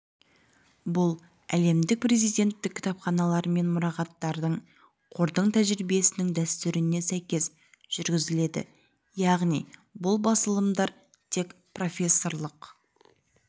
бұл әлемдік президенттік кітапханалар мен мұрағаттардың қордың тәжірибесінің дәстүріне сәйкес жүргізіледі яғни бұл басылымдар тек профессорлық